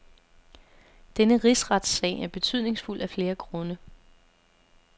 Denne rigsretssag er betydningsfuld af flere grunde.